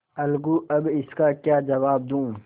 अलगूअब इसका क्या जवाब दूँ